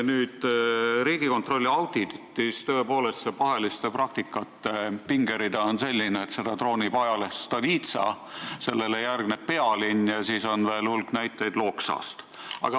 Riigikontrolli auditis on see paheliste praktikate pingerida tõepoolest selline, et seda troonib ajaleht Stolitsa, millele järgneb Pealinn, ja siis on veel hulk näiteid Loksalt.